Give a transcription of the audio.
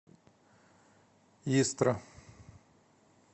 истра